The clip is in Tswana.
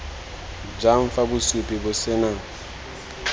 jang fa bosupi bo sena